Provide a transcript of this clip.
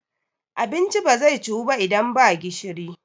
abinci ba zai ciwu ba idan ba gishiri